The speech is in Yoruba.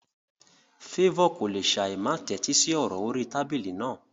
Favour kò lè ṣáì má tẹ́tí sí ọ̀rọ̀ orí tábìlì náà.